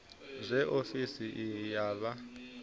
zwe ofisi iyi ya vha